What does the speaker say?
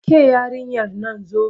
Ke yarinyar nan zo!